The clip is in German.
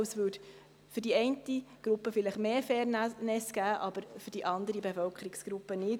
Für die eine Gruppe ergäbe sich vielleicht mehr Fairness, für die andere Bevölkerungsgruppe jedoch nicht.